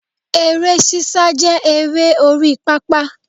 Eré sísá jẹ́ eré orí pápá